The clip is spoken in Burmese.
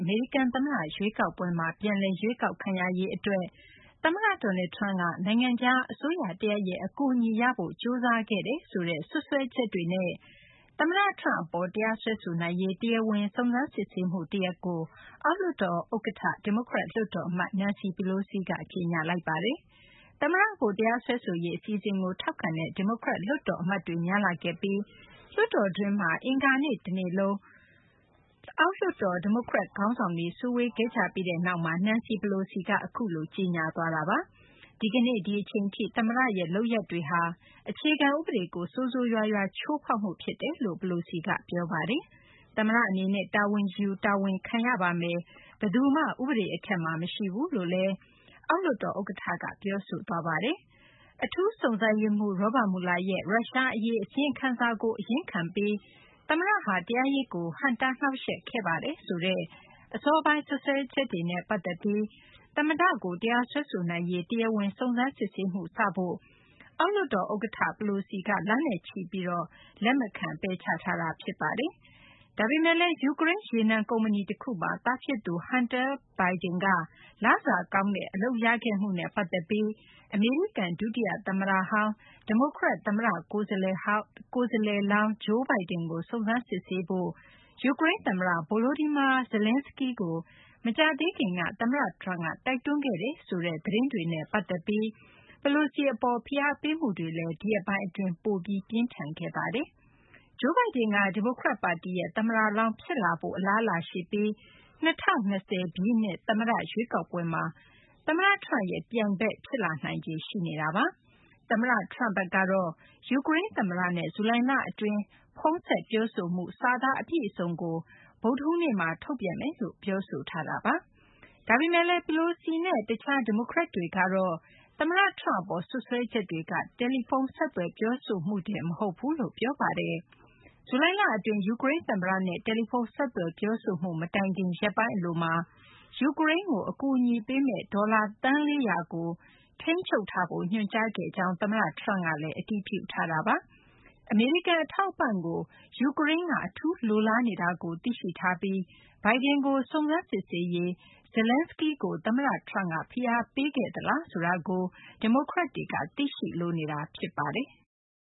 အမေရိကန် သမ္မတ ရွေးကောက်ပွဲမှာ ပြန်လည် ရွေးကောက်ခံရရေး အတွက် အမေရိကန် သမ္မတ Donald Trump က နိုင်ငံခြား အစိုးရ တရပ်ရဲ့ အကူအညီရဖို့ ကြိုးစားခဲ့တယ်ဆိုတဲ့ စွပ်စွဲချက်တွေနဲ့ သမ္မတ Trump အပေါ် တရားစွဲဆိုနိုင်ရေး တရားဝင် စုံစမ်းစစ်ဆေးမှုတရပ်ကို အောက်လွှတ်တော် ဥက္ကဌ ဒီမိုကရက် လွှတ်တော် အမတ် Nancy Pelosi က ကြေညာလိုက်ပါတယ်။ သမ္မတကို တရားစွဲဆိုရေး အစီအစဉ်ကို ထောက်ခံတဲ့ ဒီမိုကရက် လွှတ်တော် အမတ်တွေ များလာခဲ့ပြီး လွှတ်တော်တွင်းမှာ အင်္ဂါနေ့တနေ့လုံး အောက်လွှတ်တော် ဒီမိုကရက် ခေါင်းဆောင်တွေ စုဝေးခဲ့ကြပြီးနောက်မှာ Nancy Pelosi က အခုလို ကြေညာသွားတာပါ။ ဒီကနေ့ ဒီအချိန်ထိ သမ္မတရဲ့ လုပ်ရပ်တွေဟာ အခြေခံ ဥပဒေကို ဆိုးဆိုးရွားရွား ချိုးဖောက်မှု ဖြစ်ပါတယ်လို့ Pelosi က ပြောပါတယ်။ သမ္မတ အနေနဲ့ တာဝန်ယူ တာဝန်ခံရပါမယ်။ ဘယ်သူမှ ဥပဒေ အထက်မှာ မရှိဘူးလို့ အောက်လွှတ်တော် ဥက္ကဌ Pelosi က ပြောဆိုသွားပါတယ်။ အထူးစုံစမ်းရေးမှူး Robert Mueller ရဲ့ ရုရှားအရေး အစီရင်ခံစာကို အရင်ခံပြီး သမ္မတဟာ တရားရေးကို ဟန့်တား နှောင့်ယှက်ခဲ့ပါတယ်ဆိုတဲ့ အစောပိုင်း စွပ်စွဲချက်တွေနဲ့ ပတ်သက်ပြီး သမ္မတ Trump ကို တရားစွဲဆိုနိုင်ရေး တရားဝင် စုံစမ်းစစ်ဆေးမှု စဖို့ကို အောက်လွှတ်တော် ဥက္ကဌ Pelosi က လနဲ့ချီပြီး ပယ်ချထားတာ ဖြစ်ပါတယ်။ ဒါပေမယ့်လည်း ယူကရိန်း ရေနံ ကုမ္ပဏီ တခုမှာ သားဖြစ်သူ Hunter Biden က လစာကောင်းတဲ့ အလုပ်ရခဲ့မှုနဲ့ ပတ်သက်ပြီး အမေရိကန် ဒုတိယ သမ္မတဟောင်း ဒီမိုကရက် သမ္မတ ကိုယ်စားလှယ်လောင်း Joe Biden ကို စုံစမ်းစစ်ဆေးဖို့ ယူကရိန်း သမ္မတ Volodymyr Zelenskiy ကို မကြာသေးခင်က သမ္မတ Trump က တိုက်တွန်းခဲ့တယ်ဆိုတဲ့ သတင်းတွေနဲ့ ပတ်သက်ပြီး Pelosi အပေါ် ဖိအားပေးမှုတွေ ဒီရက်ပိုင်းတွေ အတွင်း ပိုပြီး ပြင်းထန်လာခဲ့တာပါ။ Joe Biden က ဒီမိုကရက် ပါတီရဲ့ သမ္မတလောင်း ဖြစ်လာဖို့ အလားအလာရှိပြီး ၂၀၂၀ ပြည့်နှစ် သမ္မတ ရွေးကောက်ပွဲမှာ သမ္မတ Trump ရဲ့ ပြိုင်ဘက် ဖြစ်လာနိုင်ခြေ ရှိနေတာပါ။ သမ္မတ Trump ဘက်ကတော့ ယူကရိန်း သမ္မတနဲ့ ဇူလိုင်လက ဖုန်းဆက် ပြောဆိုမှု စာသား အပြည့်အစုံကို ဗုဒ္ဓဟူးနေ့မှာ ထုတ်ပြန်မယ်လို့ ပြောဆိုထားပါတယ်။ ဒါပေမယ့်လည်း Pelosi နဲ့ တခြား ဒီမိုကရက်တွေကတော့ သမ္မတ Trump အပေါ် စွပ်စွဲချက်တွေက တယ်လီဖုန်း ဆက်သွယ် ပြောဆိုမှုတင် မဟုတ်ဘူးလို့ ပြောပါတယ်။ ဇူလိုင်လ အတွင်း ယူကရိန်း သမ္မတနဲ့ တယ်လီဖုန်း ဆက်သွယ် ပြောဆိုမှု မတိုင်ခင် ရက်ပိုင်း အလိုမှာ ယူကရိန်းကို အကူအညီပေးမယ့် ဒေါ်လာ သန်း ၄၀၀ ကို ထိန်းချုပ်ထားဖို့ ညွှန်ကြားခဲ့ကြောင်း သမ္မတ Trump က အတည်ပြုထားပါတယ်။ အမေရိကန် အထောက်အပံ့ကို ယူကရိန်းက အထူးလိုလားနေတာကို သိရှိထားပြီး Biden ကို စုံစမ်းစစ်ဆေးရေး Zeleinskiy ကို သမ္မတ Trump က ဖိအားပေးခဲ့သလားဆိုတာကို ဒီမိုကရက်တွေက သိရှိလိုနေတာ ဖြစ်ပါတယ်။